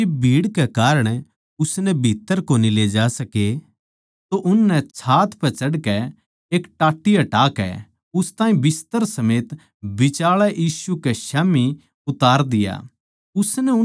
पर जिब भीड़ कै कारण उसनै भीत्त्तर कोनी ले जा सके तो उननै छात पै चढ़कै अर टाट्टी हटाकै उस ताहीं बिस्तर समेत बिचाळै यीशु कै स्याम्ही उतार दिया